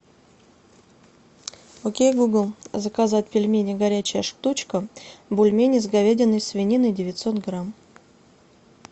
окей гугл заказать пельмени горячая штучка бульмени с говядиной и свининой девятьсот грамм